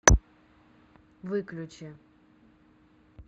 выключи